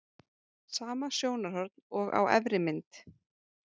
Sama sjónarhorn og á efri mynd.